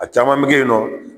A caman bɛ kɛ yen nɔ